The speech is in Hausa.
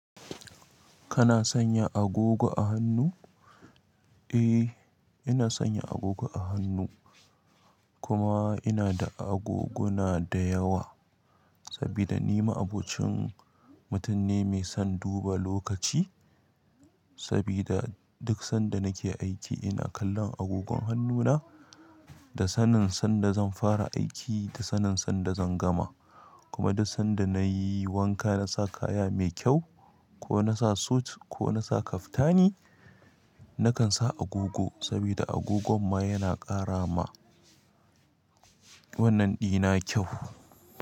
Kana sanya agogo a hannu. Eh, ina sanya agogo a hannu, kuma ina da agogona da yawa saboda ni ma'abocin mutum ne mai son duba lokaci. Saboda duk sanda nake aiki ina kallon agogon hannuna da sanin sanda zan fara aiki da sanin sanda zan gama, kuma da sanda nayi wanka na sa kaya mai kyau ko na sa suit ko na sa kaftani nakan sa agogo sabida agogon ma yana ƙara ma wannan ɗina kyau.